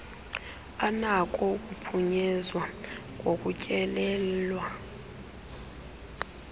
anako ukuphunyezwa ngokutyelelwa